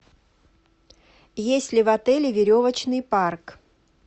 есть ли в отеле веревочный парк